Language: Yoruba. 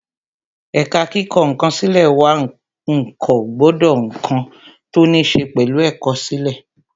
Ẹ̀ka kíkọ ǹkan sílè wà wọn ń kọ gbogbo ǹkan tó ní ṣe pẹ̀lú ẹ̀kọ́ sílè